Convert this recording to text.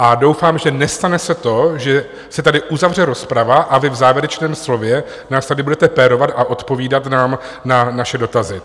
A doufám, že nestane se to, že se tady uzavře rozprava a vy v závěrečném slově nás tady budete pérovat a odpovídat nám na naše dotazy.